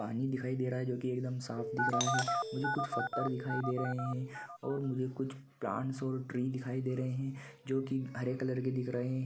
पानी दिखाई दे रहा है जो कि एकदम साफ दिख रहा है मुझे कुछ फतर दिखाई दे रहा और मुझे कुछ प्लांट्स और ट्री दिखाई दे रहे है जो कि हरे कलर के दिख रहे है ।